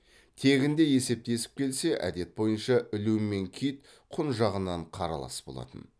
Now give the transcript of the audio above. тегінде есептесіп келсе әдет бойынша ілу мен кит құн жағынан қаралас болатын